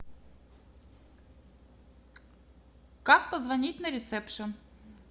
как позвонить на ресепшн